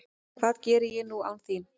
Hvað geri ég nú án þín?